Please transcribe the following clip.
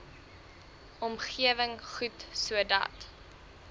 omgewing goed sodat